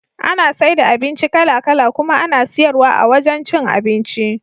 Ana saida abinci kala kala kuma ana siyar wa a wajan cin abinci.